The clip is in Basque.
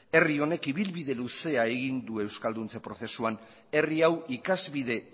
herri honek ibilbide luzea egin du euskalduntze prozesuan herri hau ikasbide